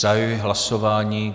Zahajuji hlasování.